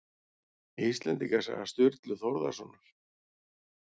Íslendingasaga Sturlu Þórðarsonar